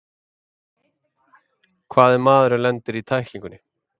Hvað ef maðurinn lendir í tæklingunni?